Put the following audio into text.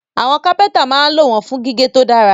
Àwọn kápẹ́ntà máa ń lò wọ́n fún gígé tó dára